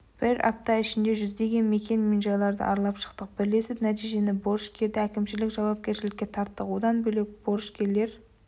бір апта ішінде жүздеген мекен-жайларды аралап шықтық бірлесіп нәтижесінде борышкерді әкімшілік жауапкершілікке тарттық одан бөлек борышкерлер